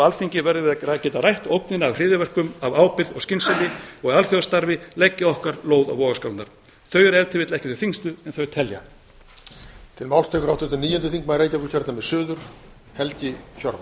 alþingi verðum við að geta rætt ógnina af hryðjuverkum af ábyrgð og skynsemi og í alþjóðastarfi leggja okkar lóð á vogarskálarnar þau eru ef til vill ekki þau þyngstu en þau telja